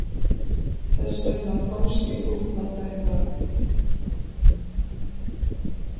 Þess vegna komst ég upp með þetta.